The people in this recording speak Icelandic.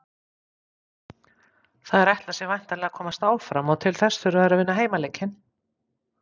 Þær ætla sér væntanlega að komast áfram og til þess þurfa þær að vinna heimaleikinn.